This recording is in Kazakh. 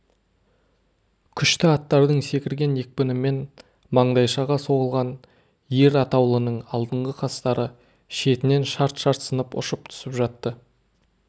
күшті аттардың секірген екпінімен маңдайшаға соғылған ер атаулының алдыңғы қастары шетінен шарт-шарт сынып ұшып түсіп жатты